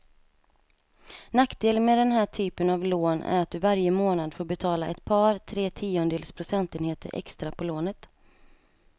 Nackdelen med den här typen av lån är att du varje månad får betala ett par, tre tiondels procentenheter extra på lånet.